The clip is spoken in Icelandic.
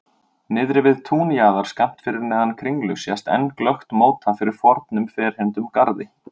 Niðri við túnjaðar, skammt fyrir neðan Kringlu sést enn glöggt móta fyrir fornum ferhyrndum garði.